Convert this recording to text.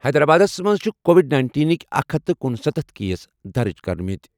حیدرآبادَس منٛز چھِ کووڈ نَینٹینکۍ اکھ ہتھَ کنُسَتتھ کیس درٕج کٔرمٕتۍ.